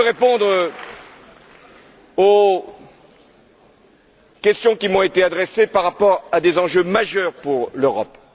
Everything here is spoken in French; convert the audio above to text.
Je veux répondre aux questions qui m'ont été adressées par rapport à des enjeux majeurs pour l'Europe.